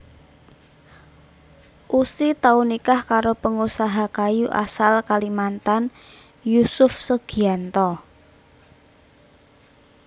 Ussy tau nikah karo pangusaha kayu asal Kalimantan Yusuf Sugianto